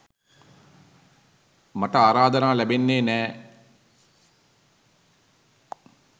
මට ආරාධනා ලැබෙන්නෙ නෑ.